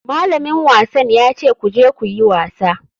Malamin wasan ya ce ku je ku yi wasa.